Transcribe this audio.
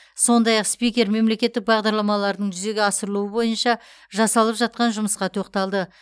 сондай ақ спикер мемлекеттік бағдарламалардың жүзеге асырылуы бойынша жасалып жатқан жұмысқа тоқталды